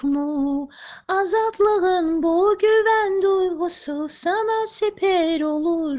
блоки винду с асуса на велосипеде